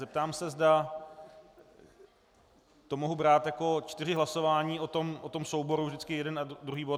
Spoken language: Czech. Zeptám se, zda to mohu brát jako čtyři hlasování o tom souboru, vždycky jeden a druhý bod.